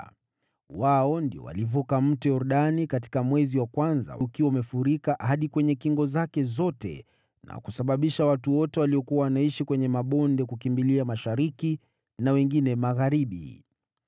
Wao ndio walivuka Mto Yordani katika mwezi wa kwanza ukiwa umefurika hadi kwenye kingo zake zote na kusababisha watu wote waliokuwa wanaishi kwenye mabonde kukimbilia mashariki na wengine magharibi.